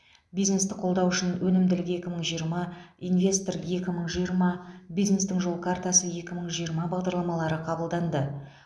бизнесті қолдау үшін өнімділік екі мың жиырма инвестор екі мың жиырма бизнестің жол картасы екі мың жиырма бағдарламалары қабылданды